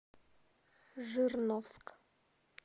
жирновск